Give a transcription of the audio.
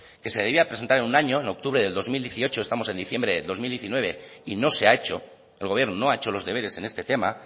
que se debía presentar en un año en octubre del dos mil dieciocho estamos en diciembre dos mil diecinueve y no se ha hecho el gobierno no ha hecho los deberes en este tema